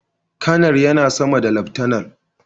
Kanar yana sama da laftanar.